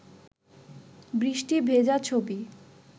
বৃষ্টি ভেজা ছবি